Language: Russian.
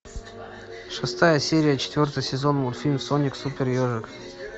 шестая серия четвертый сезон мультфильм соник супер ежик